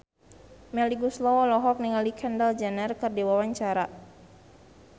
Melly Goeslaw olohok ningali Kendall Jenner keur diwawancara